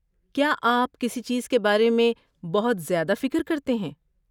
کیا آپ کسی چیز کے بارے میں بہت زیادہ فکر کرتے ہیں؟